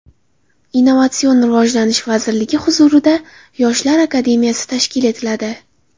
Innovatsion rivojlanish vazirligi huzurida Yoshlar akademiyasi tashkil etiladi.